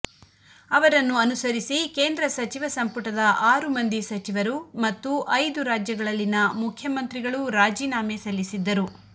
ಅವರನ್ನು ಅನುಸರಿಸಿ ಕೇಂದ್ರ ಸಚಿವ ಸಂಪುಟದ ಆರು ಮಂದಿ ಸಚಿವರು ಮತ್ತು ಐದು ರಾಜ್ಯಗಳಲ್ಲಿನ ಮುಖ್ಯಮಂತ್ರಿಗಳೂ ರಾಜೀನಾಮೆ ಸಲ್ಲಿಸಿದ್ದರು